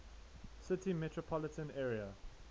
city metropolitan area